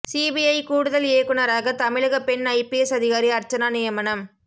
CBI கூடுதல் இயக்குனராக தமிழக பெண் ஐபிஎஸ் அதிகாரி அர்ச்சனா நியமனம்